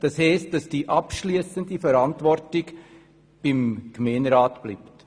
Das heisst, dass die abschliessende Verantwortung beim Gemeinderat bleibt.